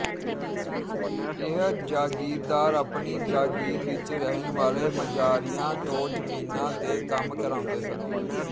ਇਹ ਜਾਗੀਰਦਾਰ ਆਪਣੀ ਜਾਗੀਰ ਵਿੱਚ ਰਹਿਣ ਵਾਲੇ ਮਜ਼ਾਰਿਆਂ ਤੋਂ ਜ਼ਮੀਨਾਂ ਤੇ ਕੰਮ ਕਰਾਉਂਦੇ ਸਨ